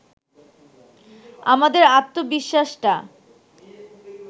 আমাদের আত্মবিশ্বাসটা